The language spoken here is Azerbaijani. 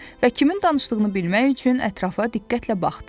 Və kimin danışdığını bilmək üçün ətrafa diqqətlə baxdı.